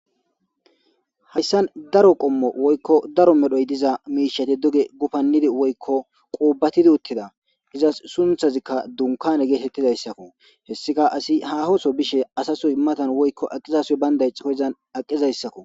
hayssan daro qommo woykko daro medhoy diza miishati doge gupannidi woykko quubatidi uttida izas sunthazikka dunkane geetettidayssakko hessika asi hahoso bishe asasoy matan woykko aqizasoy baynday ixoko izan aqizayssakko